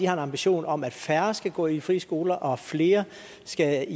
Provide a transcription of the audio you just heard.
ambition om at færre skal gå i frie skoler og at flere skal